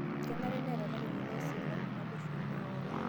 Kenare neeta larikok loo silamu naboisho mme eoro